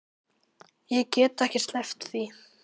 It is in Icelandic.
Ég get ekki sleppt því.